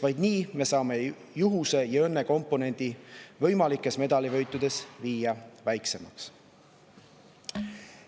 Vaid nii saame juhuse ja õnne komponendi võimalikes medalivõitudes viia väiksemaks.